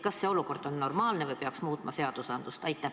Kas see olukord on normaalne või peaks muutma seadusi?